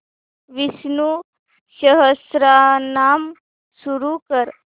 विष्णु सहस्त्रनाम सुरू कर